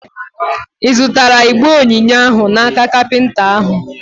Ị zụtara igbe onyinye ahụ n'aka kapinta ahụ?